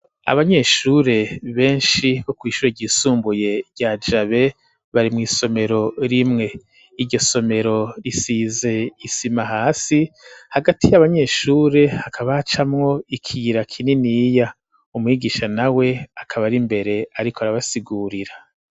Abanyeshure benshi, bo kw'ishure ryisumbuye, rya Jabe, bari mw'isomero rimwe; iryo somero, risize isima hasi, hagati y'abanyeshure, hakaba hacamwo ikiyira kininiya; umwigisha nawe, akaba ari imbere, ariko arabasigurira.